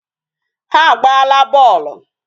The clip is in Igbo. Ha agbaala bọọlụ.